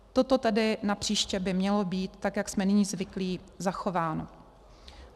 Toto tedy napříště by mělo být tak, jak jsme nyní zvyklí, zachováno.